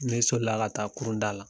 Ne sɔli la ka taa kurunda la